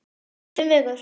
Fimm vikna